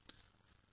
धन्यवाद सर